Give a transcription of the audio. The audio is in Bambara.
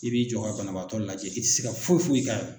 I b'i jɔ ka banabaatɔ lajɛ i tɛ se ka foyi foyi k'a ye.